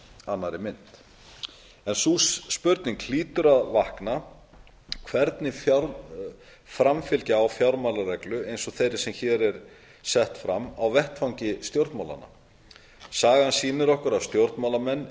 annarri mynt sú spurning hlýtur að vakna hvernig framfylgja á fjármálareglu eins og þeirri sem hér er sett fram á vettvangi stjórnmálanna sagan sýnir okkur að stjórnmálamenn